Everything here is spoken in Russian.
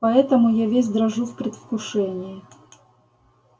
поэтому я весь дрожу в предвкушении